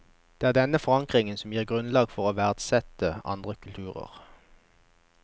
Det er denne forankringen som gir grunnlag for å verdsette andre kulturer.